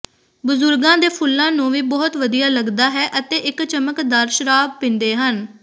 ਬਜ਼ੁਰਗਾਂ ਦੇ ਫੁੱਲਾਂ ਨੂੰ ਵੀ ਬਹੁਤ ਵਧੀਆ ਲਗਦਾ ਹੈ ਅਤੇ ਇੱਕ ਚਮਕਦਾਰ ਸ਼ਰਾਬ ਪੀਂਦੇ ਹਨ